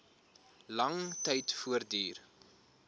lang tyd voortduur